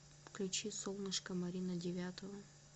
включи солнышко марина девятова